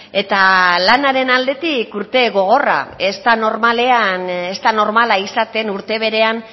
eta lanaren aldetik urte gogorra ez da normala izaten urte berean